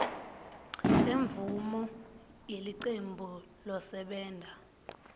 semvumo yelicembu losebenta